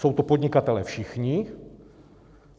Jsou to podnikatelé všichni.